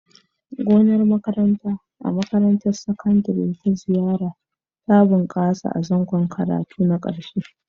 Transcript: Gonar makaranta a makarantar Sakandare ta Zariya ta bunƙasa a zangon karatu na ƙarshe.